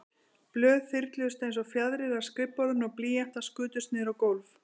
Blöð þyrluðust einsog fjaðrir af skrifborðinu og blýantar skutust niður á gólf.